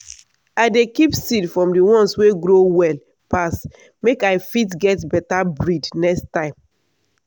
i dey keep seed from the ones wey grow well pass make i fit get better breed next time.